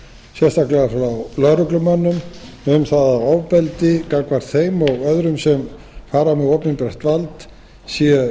sérstaklega frá lögreglumönnum um það að ofbeldi gagnvart þeim og öðrum sem fara með opinbert vald sé